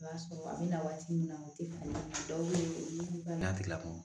I b'a sɔrɔ a bɛ na waati min na o tɛ kungolo dɔw bɛ yen olu batigi la